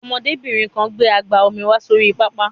Ọmọdébìnrin kan gbé àgbá omi wá sórí pápá.